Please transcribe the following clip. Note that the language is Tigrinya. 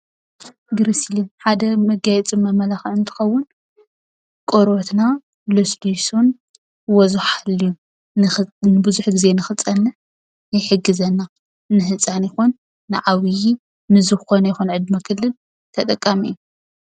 ግሪስሊን ሓደ መጋየፅን መመላኽዕን እንትኸውን ቆርበትና ለስሊሱን ወዙ ሓልዩን ንብዙሕ ጊዜ ንኽፀንሕ ይሕግዘና። ንህፃን ይኹን ንዓብይ ንዝኾነ ይኹን ዕድመ ክልል ተጠቃሚ እዩ።